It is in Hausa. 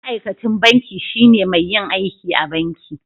Ma'aikacin banki shine mai yin aiki a banki.